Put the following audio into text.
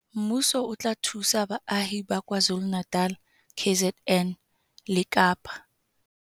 Mmuso o tla thusa baahi ba KwaZulu-Natal, KZN, le Kapa